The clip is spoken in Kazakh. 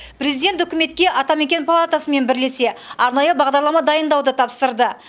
президент үкіметке атамекен палатасымен бірлесе арнайы бағдарлама дайындауды тапсырды